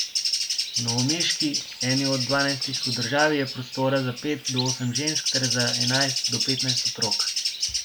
V novomeški, eni od dvanajstih v državi, je prostora za pet do osem žensk ter za enajst do petnajst otrok.